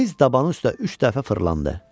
Tez dabanı üstə üç dəfə fırlandı.